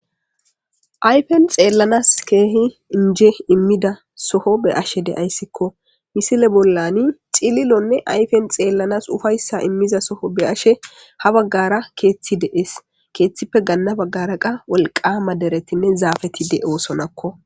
Ayfen xeelans keehi inje imida soho be7ashe de7aysikko.misile bollani cililonne ayfen xeelanas ufayssa imiza soho be7ashe ha bagara keethi de7ees.keethippe ganna bagara wolqqama deretinne zaafeti de7osonakko.